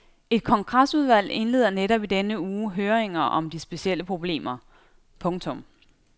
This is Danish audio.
Et kongresudvalg indleder netop i denne uge høringer om de specielle problemer. punktum